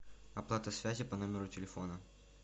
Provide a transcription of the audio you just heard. оплата связи по номеру телефона